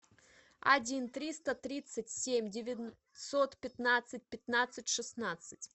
один триста тридцать семь девятьсот пятнадцать пятнадцать шестнадцать